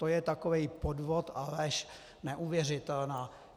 To je takový podvod a lež neuvěřitelná!